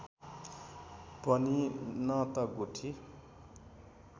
पनि न त गुठी